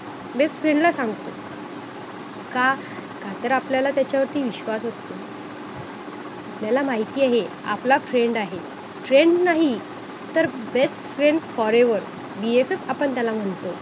best friend ला सांगतो का काय तर आपल्याला त्याच्यावरती विश्वास असतो आपल्याला माहित आहे आपला friend आहे friend नाही तर best friends forever BFF आपण त्याला म्हणतो